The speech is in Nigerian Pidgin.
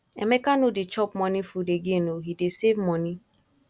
emeka no dey chop morning food again oo he dey save money